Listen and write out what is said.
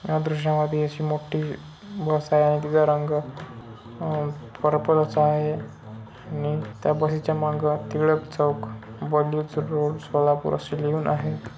या दृश्या मध्ये अशी मोठी बस आहे आणि तिचा रंग अह पर्पल असा आहे आणि त्या बसे च्या मांग टिळक चौक रोड सोलापूर असं लिहून आहे.